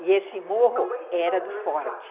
E esse morro era do Forte.